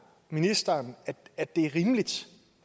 ministeren at det er rimeligt